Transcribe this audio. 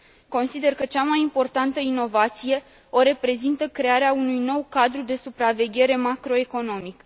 Consider că cea mai importantă inovație o reprezintă crearea unui nou cadru de supraveghere macro economic.